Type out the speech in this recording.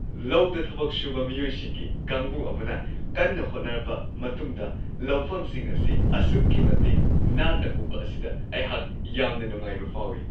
ꯂꯧꯗ ꯊꯕꯛ ꯁꯨꯕ ꯃꯤꯑꯣꯏꯁꯤꯡꯒꯤ ꯀꯥꯡꯕꯨ ꯑꯃꯅ ꯀꯟꯅ ꯍꯣꯠꯅꯔꯕ ꯃꯇꯨꯡꯗ ꯂꯧꯐꯝꯁꯤꯡ ꯑꯁꯤ ꯑꯁꯨꯛꯀꯤ ꯃꯇꯤꯛ ꯅꯥꯟꯅ ꯎꯕ ꯑꯁꯤꯗ ꯑꯩꯍꯥꯛ ꯌꯥꯝꯅ ꯅꯨꯡꯉꯥꯏꯕ ꯐꯥꯎꯋꯤ ꯫